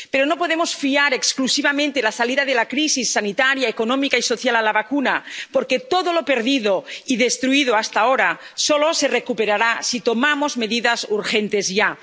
Pero no podemos fiar exclusivamente la salida de la crisis sanitaria, económica y social a la vacuna, porque todo lo perdido y destruido hasta ahora solo se recuperará si tomamos medidas urgentes ya.